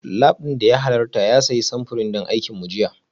Lab ɗin da ya halarta ya sayi samfurin don aikin mu jiya